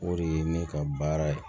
O de ye ne ka baara ye